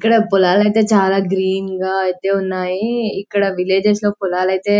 ఇక్కడ పోలలైతే చాలా గ్రీన్ గా ఐతే ఉన్నాయ్ ఇక్కడ విలేజెస్ లో పోలలైతే